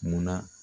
Munna